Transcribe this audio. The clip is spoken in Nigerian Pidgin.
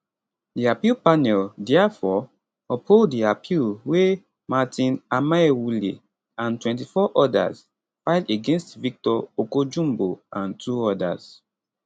di appeal panel diafore uphold di appeal wey martin amaewhule and 24 odas file against victor okojumbo and two odas